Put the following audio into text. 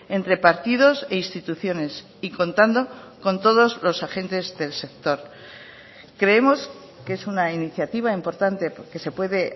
entre partidos e instituciones y contando con todos los agentes del sector creemos que es una iniciativa importante porque se puede